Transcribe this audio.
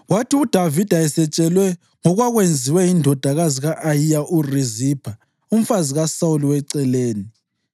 Kwathi uDavida esetshelwe ngokwakwenziwe yindodakazi ka-Ayiya uRizipha, umfazi kaSawuli weceleni,